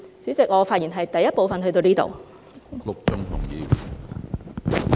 主席，我就第一部分的發言至此為止。